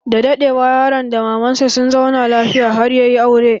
Da daɗewa, yaron da maman sa sun zauna lafiya har ya yi aure.